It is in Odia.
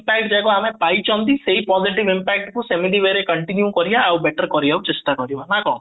side ଦେବା ଆମେ ପାଇଛନ୍ତି ସେଇ positive impact କୁ ଆମେ ସେମିତି way ରେ continue କରିବା ଆଉ better କରିବାକୁ ଚେଷ୍ଟା କରିବା